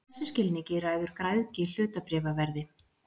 Í þessum skilningi ræður græðgi hlutabréfaverði.